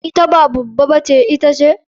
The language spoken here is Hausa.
Ita ba baba ba ce shin ita ce?